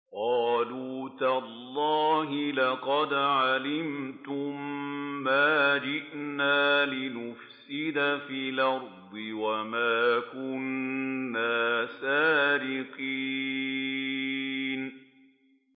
قَالُوا تَاللَّهِ لَقَدْ عَلِمْتُم مَّا جِئْنَا لِنُفْسِدَ فِي الْأَرْضِ وَمَا كُنَّا سَارِقِينَ